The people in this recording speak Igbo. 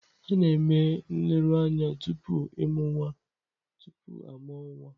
A na-eme nleruanya tupu ịmụ nwa tupu a mụọ nwa.